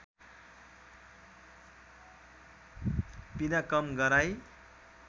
पिडा कम गराई